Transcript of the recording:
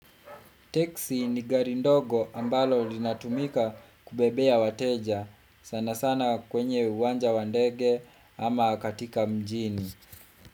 Teksi ni gari ndogo ambalo linatumika kubebea wateja. Sana sana kwenye uwanja wandege ama katika mjini.